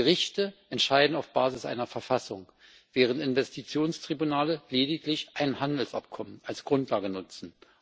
Gerichte entscheiden auf Basis einer Verfassung, während Investitionstribunale lediglich ein Handelsabkommen als Grundlage nutzen.